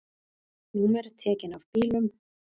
Númer tekin af bílum